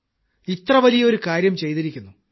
സഹോദരൻ ഇത്ര വലിയ കാര്യം ചെയ്തിരിക്കുന്നു